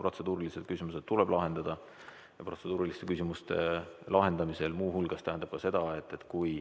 Protseduurilised küsimused tuleb lahendada ja protseduuriliste küsimuste lahendamine muu hulgas tähendab seda, et kui